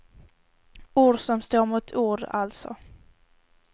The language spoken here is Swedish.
Ord står mot ord, alltså.